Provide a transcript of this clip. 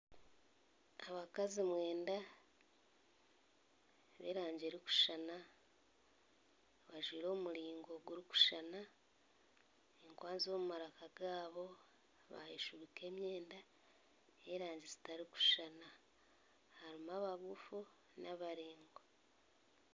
Abakazi mwenda b'erangi erikushushana bajwaire omu muringo gurikushushana, enkwanzi mu maraka gaabo bayeshubika emyenda ey'erangi zitarikushushana. Harimu abagufu n'abaraingwa.